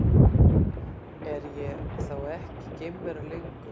Er ég þá ekki geimvera lengur?